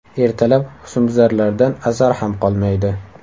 Ertalab husnbuzarlardan asar ham qolmaydi.